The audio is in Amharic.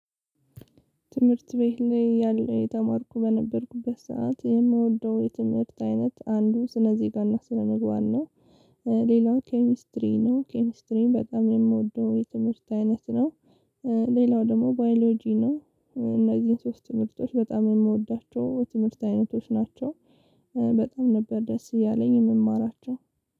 ትምህርት ቤት ላይ ያለው የተማርኩ በነበርኩበት ሰዓት የምወደው የትምህርት አይነት አንዱ ስነዜጋና ስነምግባር ነው። ሌላው ኬሚስትሪ ነው። ኬሚስትሪን በጣም የምወደው የትምህርት አይነት ነው። ሌላው ደግሞ ባዮሎጂ ነው። እነዚህን ሶስት ትምህርቶች በጣም የምወዳቸው ትምህርት አይነቶች ናቸው። በጣም ነበር ደስ እያለኝ የምማራቸው።